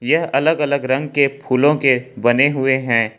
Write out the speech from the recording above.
यह अलग अलग रंग फूलों के बने हुए हैं।